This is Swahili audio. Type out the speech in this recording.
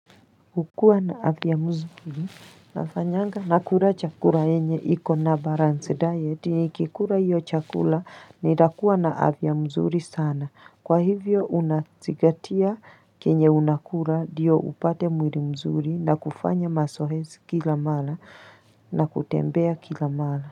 Kukua na afya mzuri nafanyanga nakura chakura yenye iko na balance diet nikikura hiyo chakula nitakuwa na afya mzuri sana. Kwa hivyo unazingatia kenye unakura diyo upate mwiri mzuri na kufanya mazoezi kila mala na kutembea kila mala.